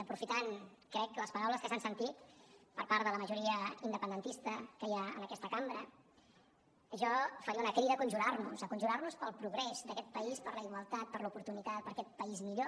aprofitant crec les paraules que s’han sentit per part de la majoria independentista que hi ha en aquesta cambra jo faria una crida a conjurar nos a conjurar nos pel progrés d’aquest país per la igualtat per l’oportunitat per aquest país millor